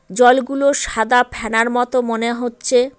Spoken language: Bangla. জলগুলো সাদা ফেনার মতো মনে হচ্ছে।